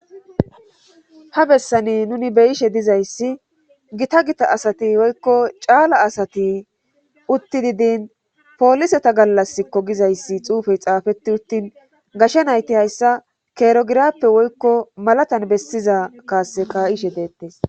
ha bessani nuni beyishe dizayssi gita gita asati woykko caala asati uuttidii diin pooliseta gallaskko gizayssi xuufey xaafeti uttin gasha nayti hayssa keerogirappe woykko malatan bessiza kaase ka'ishe deettes